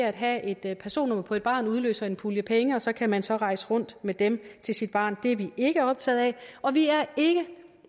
at have et personnummer på et barn udløser en pulje penge og så kan man så rejse rundt med dem til sit barn det er vi ikke optaget af og vi